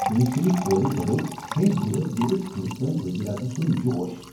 مِصری كورِ بَڈوو ہیندی بٲتھ گیوِتھ ہنٛدوستٲنۍ وزیر اعظم سُنٛد جوش ۔